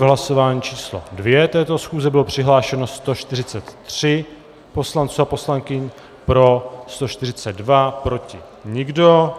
V hlasování číslo 2 této schůze bylo přihlášeno 143 poslanců a poslankyň, pro 142, proti nikdo.